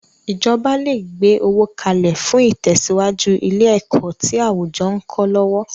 Ìjọba le gbe owó kalẹ̀ fún itesiwaju ilé ẹ̀kọ́ tí àwùjọ ń kọ́ lọ́wọ́.